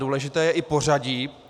Důležité je i pořadí.